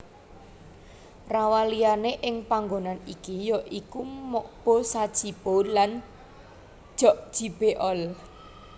Rawaliyane ing panggonan iki ya iku Mokpo Sajipo lan Jjokjibeol